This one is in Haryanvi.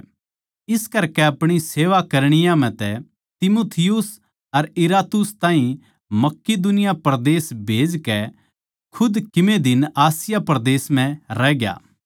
इस करकै अपणी सेवा करणीया म्ह तै तीमुथियुस अर इरास्तुस ताहीं मकिदुनिया परदेस खन्दाकै खुद कीमे दिन आसिया परदेस म्ह रहग्या